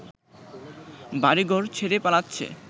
বাড়িঘর ছেড়ে পালাচ্ছে